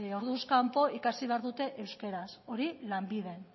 orduz kanpo ikasi behar dute euskeraz hori lanbiden